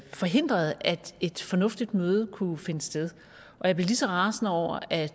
forhindrede at et fornuftigt møde kunne finde sted og jeg blev lige så rasende over at